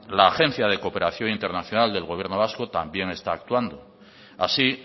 la agencia de cooperación internacional del gobierno vasco también está actuando así